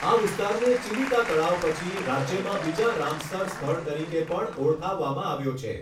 આ વિસ્તારને ચિલિકા તળાવ પછી રાજ્યમાં બીજા રામસર સ્થળ તરીકે પણ ઓળખાવવામાં આવ્યો છે.